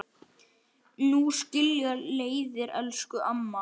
Nú skilja leiðir, elsku amma.